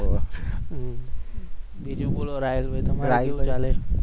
બીજુ બોલો રાહિલભાઈ તમારા શુ ચાલે?